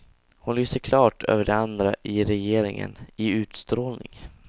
Hon lyser klart över de andra i regeringen, i utstrålning.